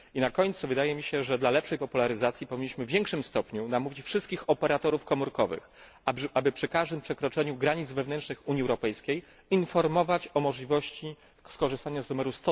Na końcu wydaje mi się, że dla lepszej popularyzacji powinniśmy w większym stopniu namówić wszystkich operatorów komórkowych, aby przy każdym przekroczeniu granic wewnętrznych Unii Europejskiej informować o możliwości skorzystania z numeru